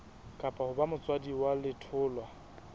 ho ba motswadi wa letholwa